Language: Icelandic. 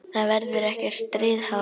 Það verður ekkert stríð háð.